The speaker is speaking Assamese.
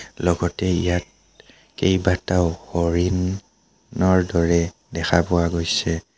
লগতে ইয়াত কেইবাটাও হৰিণ নৰ দেখা পোৱা গৈছে।